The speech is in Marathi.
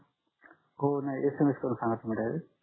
हो नाही SMS करुन सांगा डायरेक्ट